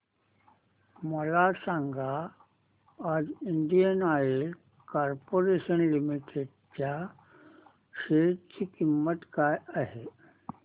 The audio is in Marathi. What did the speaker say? मला सांगा आज इंडियन ऑइल कॉर्पोरेशन लिमिटेड च्या शेअर ची किंमत काय आहे